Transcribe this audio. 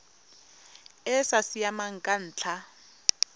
e sa siamang ka ntlha